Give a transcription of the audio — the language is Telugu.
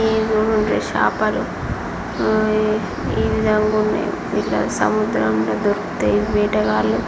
ఇవి చూడుండ్రి చాపలు ఆ ఈ విధంగా ఉన్నాయో సముద్రంలో దొరుకుతాయి. ఇవి వేటగాళ్లు --